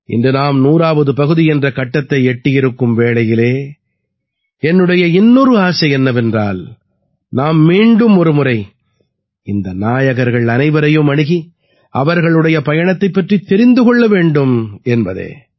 இன்று நாம் 100ஆவது பகுதி என்ற கட்டத்தை எட்டியிருக்கும் வேளையிலே என்னுடைய இன்னொரு ஆசை என்னவென்றால் நாம் மீண்டும் ஒரு முறை இந்த நாயகர்கள் அனைவரையும் அணுகி அவர்களுடைய பயணத்தைப் பற்றித் தெரிந்து கொள்ள வேண்டும் என்பதே